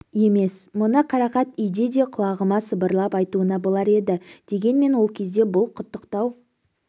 емес мұны қарақат үйде де құлағыма сыбырлап айтуына болар еді дегенмен ол кезде бұл құттықтау